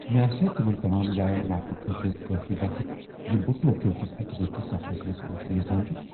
مےٚ آسِیا تمن تمام جاین واتنہٕ خٲطرٕ کٲفی وقت یِمہٕ بہٕ ٹوکیو کس أکہِ دۄہ کس سفرس منٛز وٕچھنہِ یژھان چھس؟